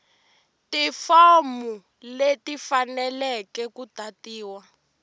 tifomu leti tifaneleke ku tatiwa